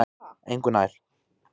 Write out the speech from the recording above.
Engu nær